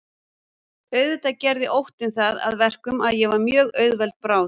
Auðvitað gerði óttinn það að verkum að ég var mjög auðveld bráð.